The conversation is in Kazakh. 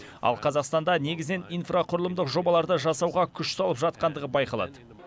ал қазақстанда негізінен инфрақұрылымдық жобаларды жасауға күш салып жатқандығы байқалады